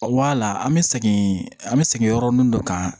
Wala an bɛ segin an bɛ segin yɔrɔ min dɔ kan